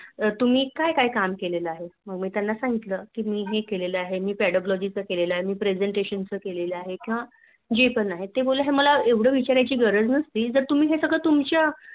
तुम्ही काय काय काम केलेले आहे मग मी त्यांना सांगितलं कि हे केलेले आहे मी केलेले आहे मी Presentation च केले आहे किंवा जे पणआहे त बोलते मला हे सर्व विचारायची गरज नसती जा तुम्हे हे सर्व तुमच्या